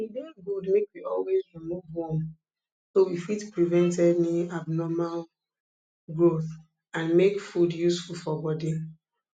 e dey good make we always remove worm so we fit prevent any abnormal growth and make food useful for body